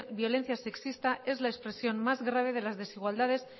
violencia sexista es la expresión más grave de las desigualdades